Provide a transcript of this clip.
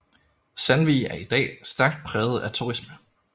Sandvig er i dag stærkt præget af turisme